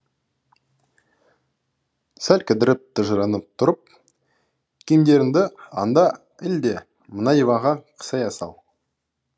сәл кідіріп тыжырынып тұрып киімдеріңді анда іл де мына диванға қисая сал